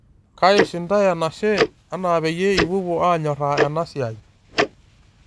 Kaish ntae enashe enaa peyie ipuopuo anyoraa ena siai.